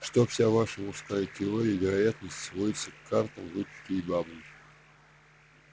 что вся ваша мужская теория вероятности сводится к картам выпивке и бабам